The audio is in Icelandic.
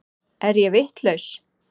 Er ég vitlaus!